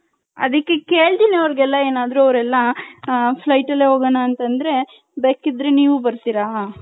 ಅದಿಕ್ಕೆ ಕೇಳ್ತೀನಿ ಅವರ್ಗೆಲ್ಲ ಏನಾದ್ರು ಅವರ್ಯೆಲ್ಲ ಹ flight ಅಲ್ಲೇ ಹೋಗಣ ಅಂತ ಅಂದ್ರೆ ಬೇಕಿದ್ರೆ ನೀವು ಬರ್ತಿರ .